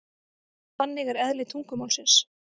Þannig er eðli tungumálsins.